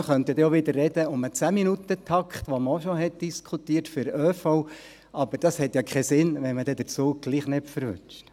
Man könnte dann ja auch wieder über den 10Minuten-Takt für den ÖV sprechen, den man auch schon diskutiert hat, aber das macht ja keinen Sinn, wenn man den Zug dann doch nicht erwischt.